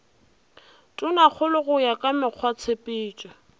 tonakgolo go ya ka mekgwatshepetšo